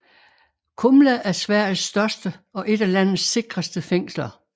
Kumla er Sveriges største og et af landets sikreste fængsler